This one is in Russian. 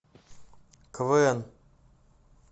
квн